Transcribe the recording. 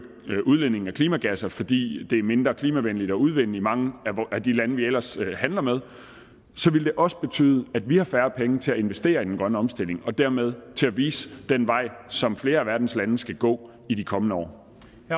udledningen af klimagasser fordi det er mindre klimavenligt at udvinde i mange af de lande vi ellers handler med også betyde at vi havde færre penge til at investere i den grønne omstilling og dermed til at vise den vej som flere af verdens lande skal gå i de kommende år